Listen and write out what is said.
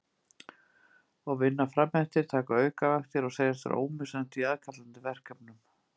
Og vinna fram eftir, taka aukavaktir og segjast vera ómissandi í aðkallandi verkefnum.